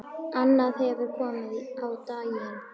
Annað hefur komið á daginn.